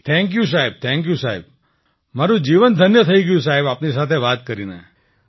thank you સાહેબ thank you સાહેબ મારું જીવન ધન્ય થઈ ગયું આપની સાથે વાત કરીને